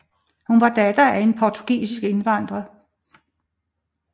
Hun var datter af en portugisisk indvandrer